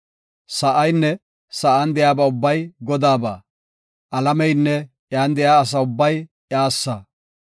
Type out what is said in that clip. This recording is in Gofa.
Sa7aynne sa7an de7iya ubbay Godaaba; alameynne iyan de7iya asa ubbay iyassa.